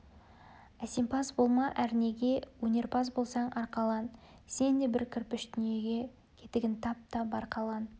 әсемпаз болма әрнеге өнерпаз болсаң арқалан сен де бір кірпіш дүниеге кетігін тап та бар қалан